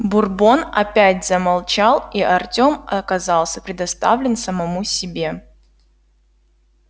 бурбон опять замолчал и артём оказался предоставлен самому себе